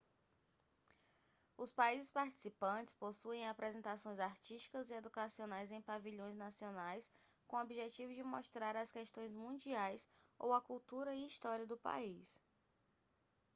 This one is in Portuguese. os países participantes possuem apresentações artísticas e educacionais em pavilhões nacionais com objetivo de mostrar as questões mundiais ou a cultura e história do país